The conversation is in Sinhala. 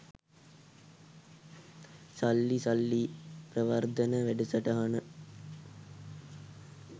සල්ලි සල්ලි ප්‍රවර්ධන වැඩසටහන